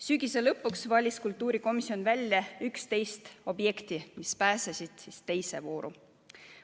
Sügise lõpuks valis kultuurikomisjon välja 11 objekti, mis pääsesid teise vooru.